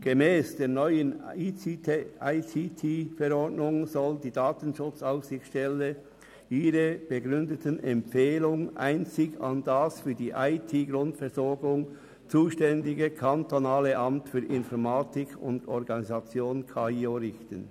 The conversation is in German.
Gemäss der neuen Verordnung über die Informations- und Telekommunikationstechnik der Kantonsverwaltung vom 24. Januar 2018 (ICTV) soll die DSA ihre begründeten Empfehlungen einzig an das für die IT-Grundversorgung zuständige Kantonale Amt für Informatik und Organisation (KAIO) richten.